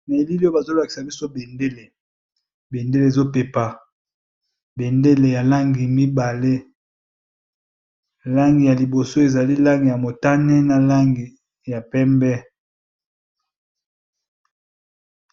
Na elili oyo bazo lakisa biso bendele, bendele ezo pepa bendele ya langi mibale langi ya liboso ezali langi ya motane na langi ya pembe.